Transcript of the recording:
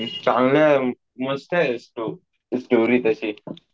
चांगलाय मस्तय sto story त्याची अजून तो तानाजी पण हिंदी मध्ये